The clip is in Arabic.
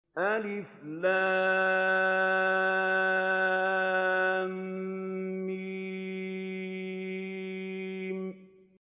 الم